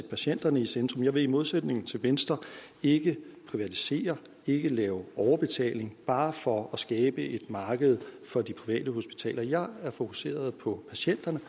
patienterne i centrum jeg vil i modsætning til venstre ikke privatisere ikke lave overbetaling bare for at skabe et marked for de private hospitaler jeg er fokuseret på patienterne